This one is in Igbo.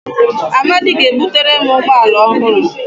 Amadi ga-ebutere m ụgbọ ala ọhụrụ